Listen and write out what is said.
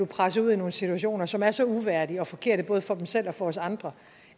presset ud i nogle situationer som er så uværdige og forkerte både for dem selv og for os andre